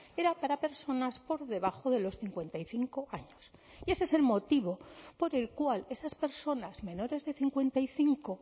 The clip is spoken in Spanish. era para personas por debajo de los cincuenta y cinco años y ese es el motivo por el cual esas personas menores de cincuenta y cinco